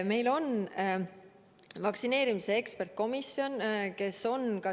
Meil on vaktsineerimise eksperdikomisjon.